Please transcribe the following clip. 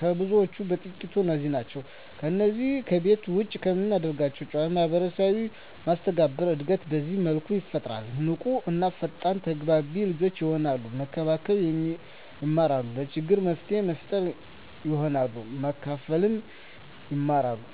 ከብዙዎቹ በጥቂቱ እነዚህ ናቸው። ከነዚህ ከቤት ውጭ ከሚደረጉ ጨዎች ማህበራዊ መስተጋብር እድገት በዚህ መልኩ ይፈጠራል። ንቁ እና ፈጣን ተግባቢ ልጆች የሆናሉ፤ መከባበር የማራሉ፤ ለችግር መፍትሔ ፈጣሪ ይሆናሉ፤ ማካፈልን ይማራ፤